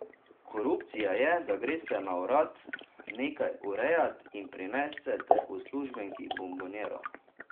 Korupcija je, da greste na urad nekaj urejat in prinesete uslužbenki bonboniero.